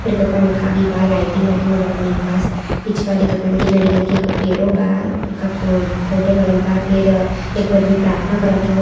ऊपर एगो पंखा भी बा लाइटिंग वाइटिंग भी बड़ा निक बा। पीछेवा देखत बा की नारियल के एगो पेड़ों बा उका फोटो लगल बा फिर एको आदमी प्रार्थना करथ ह।